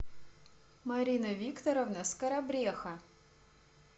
марина викторовна скоробреха